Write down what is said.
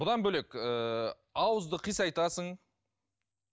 бұдан бөлек ыыы ауызды қисайтасың